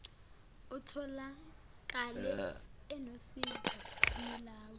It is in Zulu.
atholakale enosizo yilawa